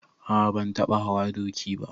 A a ban taɓa hawa doki ba.